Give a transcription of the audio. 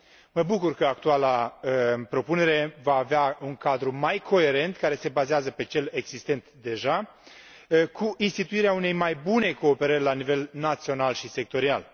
Mă bucur că actuala propunere va avea un cadru mai coerent, care se bazează pe cel existent deja, cu instituirea unei mai bune cooperări la nivel național și sectorial.